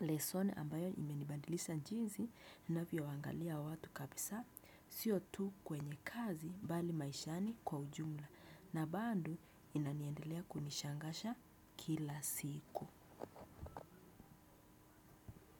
lesson ambayo imenibadilisha njisi ninavyoangalia watu kabisa, sio tu kwenye kazi mbali maishani kwa ujumla na bado inaniendelea kunishangaza kila siku.